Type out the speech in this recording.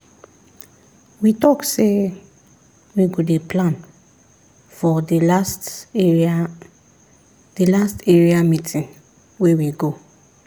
we talk say we go dey plan for the last area the last area meeting wey we go